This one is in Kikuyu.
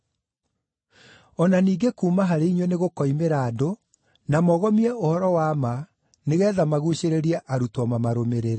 O na ningĩ kuuma harĩ inyuĩ nĩgũkoimĩra andũ, na mogomie ũhoro-wa-ma nĩgeetha maguucĩrĩrie arutwo mamarũmĩrĩre.